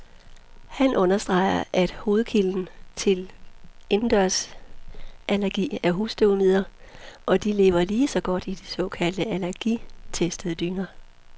Han understreger, at hovedkilden til indendørsallergi er husstøvmiden, og de lever lige så godt i de såkaldt allergitestede dyner.